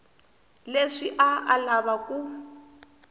leswi a a lava ku